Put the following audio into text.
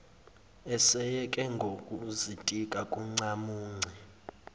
eseyeke nokuzitika ngoncamunce